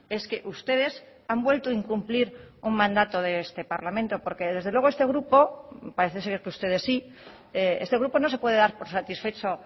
es que ustedes han vuelto a incumplir un mandato de este parlamento porque desde luego este grupo parece ser que ustedes sí este grupo no se puede dar por satisfecho